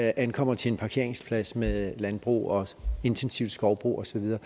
ankommer til en parkeringsplads med landbrug og intensiv skovbrug og så videre